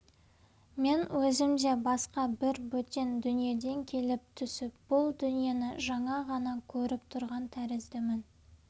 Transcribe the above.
мен өзім де басқа бір бөтен дүниеден келіп түсіп бұл дүниені жаңа ғана көріп тұрған тәріздімін